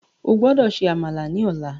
O gbódò ṣe Àmàlà ní ọlá